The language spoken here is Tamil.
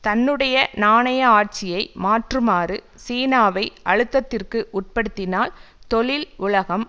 தன்னுடைய நாணய ஆட்சியை மாற்றுமாறு சீனாவை அழுத்தத்திற்கு உட்படுத்தினால் தொழில் உலகம்